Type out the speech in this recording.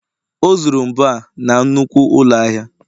o zuru mbo a na nnukwu ụlọ ahịa